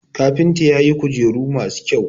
kafinta ya yi kujeru masu kyau